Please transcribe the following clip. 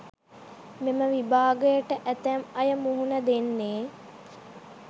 මෙම විභාගයට ඇතැම් අය මුහුණ දෙන්නෙ.